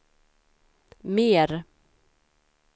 mer